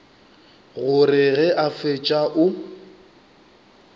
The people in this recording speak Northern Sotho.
gore ge a fetša o